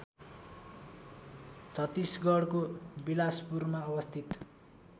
छत्तिसगढको बिलासपुरमा अवस्थित